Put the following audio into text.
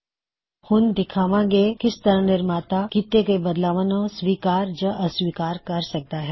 ਹੁਣ ਅਸੀਂ ਦਿਖਾਂਵਾ ਗੇ ਕਿਸ ਤਰ੍ਹਾ ਨਿਰਮਾਤਾ ਕੀੱਤੇ ਹੋਏ ਬਦਲਾਵਾਂ ਨੂੰ ਸਵੀਕਾਰ ਜਾਂ ਅਸਵੀਕਾਰ ਕਰ ਸਕਦਾ ਹੈ